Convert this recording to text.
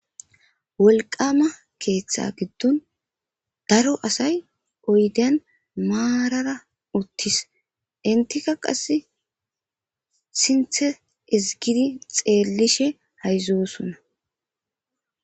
Wolqqaama keeththaa giddon daro asay oydiyan maarara uththis; enththikka qassi sinththe ezggidi xeellishe hayzeyoosona.